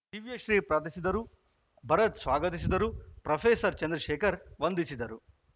ದಿವ್ಯಶ್ರೀ ಪ್ರಾರ್ಥಸಿದರು ಭರತ್‌ ಸ್ವಾಗತಿಸಿದರು ಪ್ರೊಫೆಸರ್ ಚಂದ್ರಶೇಖರ್‌ ವಂದಿಸಿದರು